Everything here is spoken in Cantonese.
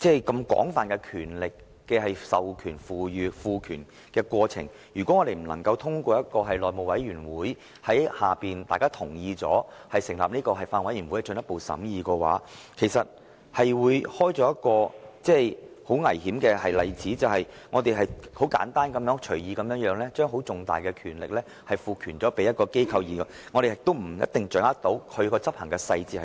如果向金管局賦予這種廣泛權力的過程不經內務委員會及隨後經議員同意而成立的法案委員會進一步審議，便會開創危險的先例，即我們只是簡單而隨意地把重大的權力賦予一間機構，但卻無法掌握當中的執行細節。